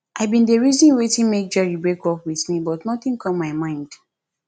i bin dey reason wetin make jerry break up with me but nothing dey come my mind